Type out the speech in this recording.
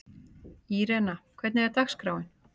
Írena, hvernig er dagskráin?